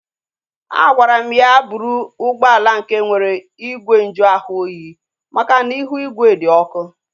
A gwara m ya bụrụ ụgbọala nke nwere igwe nju ahụ oyi makana ihu igwe di ọkụ